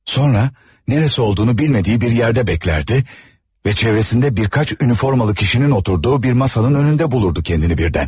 Sonra, nərəsi olduğunu bilmədiyi bir yerdə gözlərdi və çevrəsində bir neçə uniforma kişilərin oturduğu bir masanın önündə bulurdu kəndini birdən.